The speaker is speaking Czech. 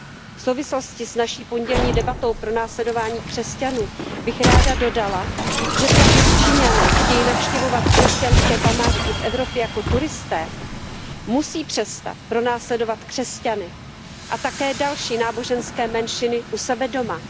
V souvislosti s naší pondělní debatou o pronásledování křesťanů bych ráda dodala, že pokud Číňané chtějí navštěvovat křesťanské památky v Evropě jako turisté, musí přestat pronásledovat křesťany a také další náboženské menšiny u sebe doma.